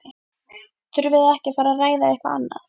Þurfið þið ekki að fara ræða eitthvað annað?